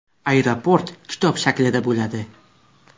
Aeroport kitob shaklida bo‘ladi.